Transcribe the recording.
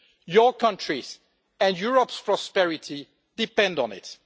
Your country and Europe's prosperity depend on it.